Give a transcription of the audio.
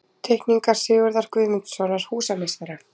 Teikningar Sigurðar Guðmundssonar, húsameistara.